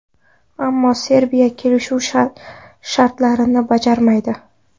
Ammo Serbiya kelishuv shartlarini bajarmaydi.